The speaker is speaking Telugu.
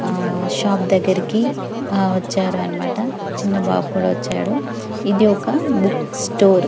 ఆహ్ షాప్ దగ్గరికి వచ్చారన్నమాట ఆ చిన్న బాబు కూడా వచ్చాడు ఇది ఒక బుక్ స్టోర్ .